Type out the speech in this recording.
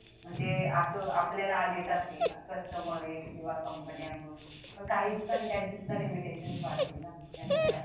म्हणजे अस आपल्याला देतात ते customer किंवा कंपन्या पण काही दिवसांनी त्यांचे सुद्धा limitations वाढतील ना या सगळ्या